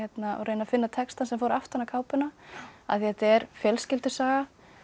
reyna að finna textann sem fór aftan á kápuna af því þetta er fjölskyldusaga